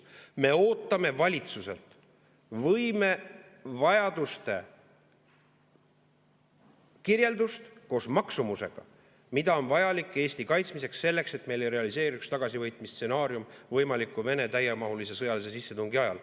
Me ootame valitsuselt võimevajaduste kirjeldust koos maksumusega, mida on vaja Eesti kaitsmiseks, selleks et meil ei realiseeruks tagasivõitmise stsenaarium võimaliku Vene täiemahulise sõjalise sissetungi ajal.